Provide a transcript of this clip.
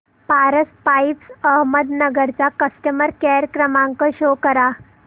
Paras pipes Ahmednagar चा customer care क्रमांक show करा